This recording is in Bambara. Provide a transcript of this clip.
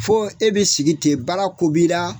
Fo e bi sigi ten baara ko b'i ra.